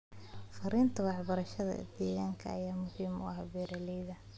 Fariinta waxbarashada deegaanka ayaa muhiim u ah beeralayda.